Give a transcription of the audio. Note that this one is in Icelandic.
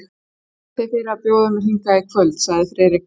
Þakka þér fyrir að bjóða mér hingað í kvöld sagði Friðrik.